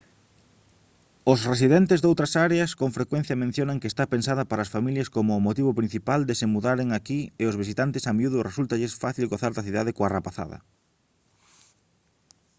os residentes doutras áreas con frecuencia mencionan que está pensada para as familias como o motivo principal de se mudaren aquí e aos visitantes a miúdo resúltalles fácil gozar da cidade coa rapazada